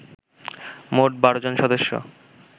মোট ১২ জন সদস্য